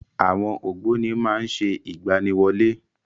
Àwọn ògbóni má ń ṣe ìgbaniwọlé.